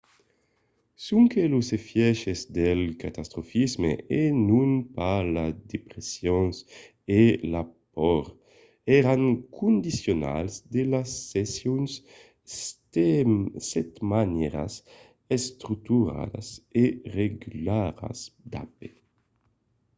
sonque los efièches del catastrofisme e non pas la depression e la paur èran condicionals de las sessions setmanièras estructuradas e regularas d'ap